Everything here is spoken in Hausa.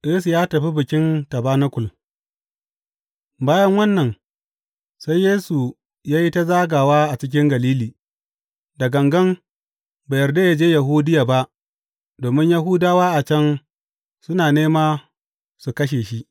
Yesu ya tafi Bikin Tabanakul Bayan wannan, sai Yesu ya yi ta zagawa a cikin Galili, da ganga bai yarda yă je Yahudiya ba domin Yahudawa a can suna nema su kashe shi.